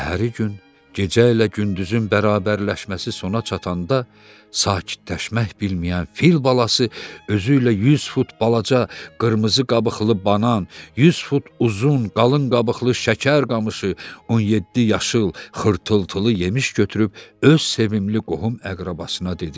Səhəri gün gecə ilə gündüzün bərabərləşməsi sona çatanda, sakitləşmək bilməyən fil balası özü ilə 100 fut balaca qırmızı qabıqlı banan, 100 fut uzun qalın qabıqlı şəkər qamışı, 17 yaşıl xırtıltılı yemiş götürüb öz sevimli qohum-əqrabasına dedi: